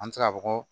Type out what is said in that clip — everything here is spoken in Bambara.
An bɛ se k'a fɔ ko